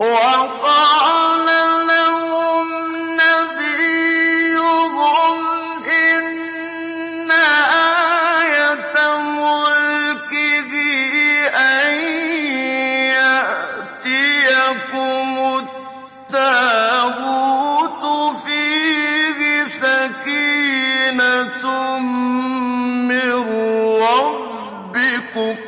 وَقَالَ لَهُمْ نَبِيُّهُمْ إِنَّ آيَةَ مُلْكِهِ أَن يَأْتِيَكُمُ التَّابُوتُ فِيهِ سَكِينَةٌ مِّن رَّبِّكُمْ